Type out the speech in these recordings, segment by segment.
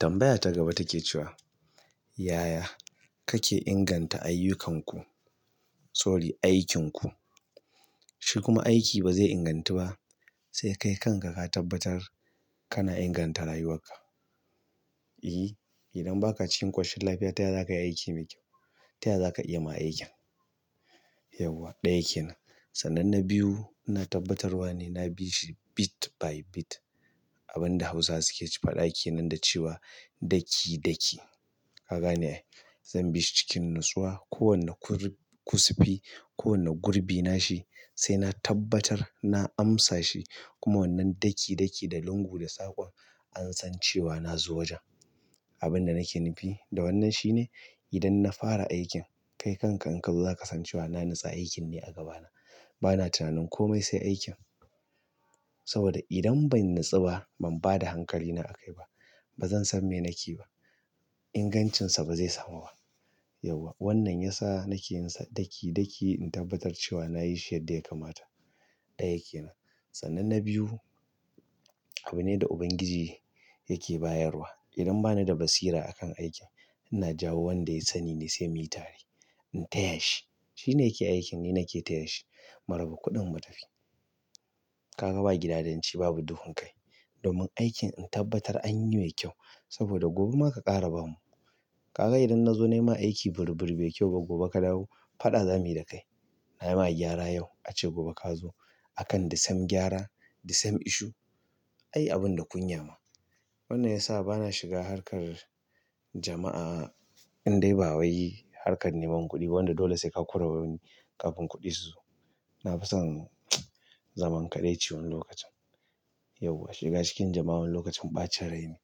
Tambaya ta gaba take cewa yaya kake inganta aiyukanku sorry aikin ku? Shi kuma aiki ba zai ingantu ba sai kai kanka ka tabbatar kana inganta rayuwarka, iyyi idan baka cikin ƙoshin lafiya taya za kai aiki mai kyau. Taya za ka iya ma aikin? Yauwa, ɗaya kenan. Sannan na biyu, ina tabbatar wane na bi shi bit by bit. Abin da Hausawa suke cewa faɗa kenan da cewa ɗaki ɗaki. Ka gane ai. Zan bi shi cikin natsuwa. Ko wanne kusifi, ko wanne gurbi na shi sai na tabbatar na amsa shi. Kuma wannan ɗaki ɗaki da lungu da saƙon an san cewa na zo wajen. Abin da nake nufi da wannan shi ne idan na fara aikin, kai kanka in ka zo za ka san cewa na nutsa aikin ne a gabana. Bana tunanin komai sai aikin. Saboda idan ban natsu ba, ban ba da hankalina a kai ba. Ba zan san me nake yi ba. Ingancinsa ba zai samu ba. Yauwa. Wannan ya sa nake yin sa ɗaki ɗaki in tabbatar cewa na yi shi yadda ya kamata. Ɗaya kenan. Sananne biyu, abu ne da Ubangiji yake bayarwa. Idan ba ni da basira a kan aikin, ina jawo wanda ya sani ne sai miyi tare. In taya shi. Shi ne ke aikin, ni nake taya shi. Mu raba kuɗin mu tafi. Ka ga ba gidadanci babu duhun kai. Domin aikin in tabbatar anyi mai kyau saboda gobe ma ka ƙara bamu. Ka ga idan na zo nai ma aiki burr burr bai kyau ba, gobe ka dawo faɗa za mu yi da kai. Na yi ma gyara yau ace gobe ka zo. Akan the same gyara, the same issue. Ai abin da kunya ma. Wannan ya sa bana shiga harkar jama'a in dai ba wai harkar neman kuɗi ba wanda dole sai ka kora wani kafin kuɗi su zo. Na fi son zaman kaɗaici wani lokacin. Yauwa. Shiga cikin jama'a wani lokacin ɓacin rai ne.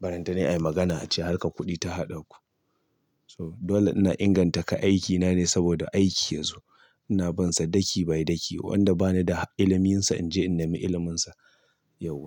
Barantanai ai magana ace harkar kuɗi ta haɗa ku. So, dole ina inganta ka aikina ne saboda aiki yazo. Ina bin sa ɗaki by ɗaki. Wanda ba ni da iliminsa in je in nemi iliminsa. Yauwa.